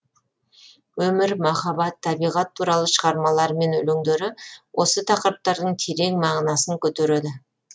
өмір махаббат табиғат туралы шығармалары мен өлеңдері осы тақырыптардың терең мағынасын көтереді